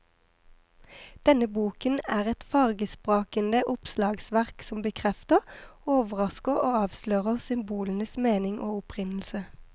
Denne boken er et fargesprakende oppslagsverk som bekrefter, overrasker og avslører symbolenes mening og opprinnelse.